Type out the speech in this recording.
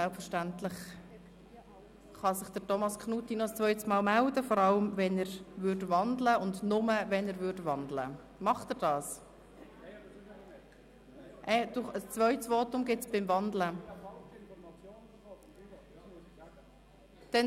Selbstverständlich kann sich Grossrat Thomas Knutti noch einmal melden, vor allem wenn er wandeln möchte beziehungsweise ausschliesslich, wenn er wandeln möchte.